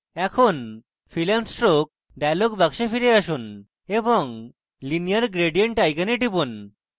এখন fill and stroke dialog box ফিরে আসুন এবং linear gradient icon টিপুন